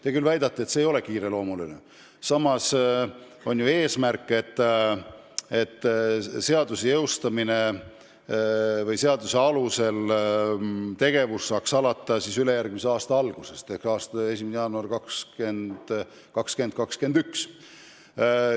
Te küll väidate, et see ei ole kiireloomuline, samas on ju eesmärk, et seaduse alusel tegevus saaks alata ülejärgmise aasta alguses ehk 1. jaanuaril 2021.